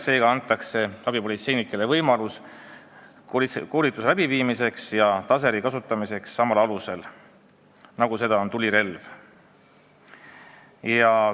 Seega antakse abipolitseinikele võimalus saada koolitust taseri kasutamisel samal alusel nagu tulirelva puhul.